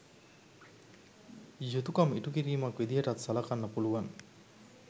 යුතුකම් ඉටුකිරීමක් විදිහටත් සලකන්න පුළුවන්.